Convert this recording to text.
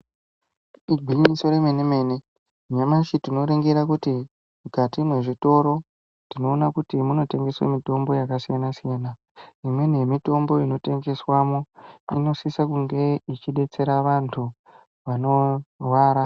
Igwinyiso remene mene nyamashi tinoringira kuti mukati mwezvitoro tinoona kuti munotengeswa mitombo yakasiyana siyana . Imweni yemitombo inotengeswamo inosisa kunge yeidetsera vantu vanorwara.